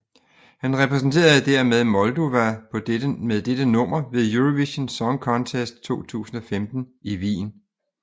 Han repræsenterede dermed Moldova med dette nummer ved Eurovision Song Contest 2015 i Wien